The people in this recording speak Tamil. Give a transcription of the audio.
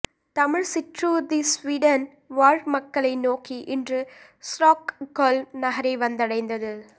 தமிழ்ச் சிற்றூர்தி சுவீடன் வாழ் மக்களை நோக்கி இன்று ஸ்ரொக்கொல்ம் நகரை வந்தடைந்தது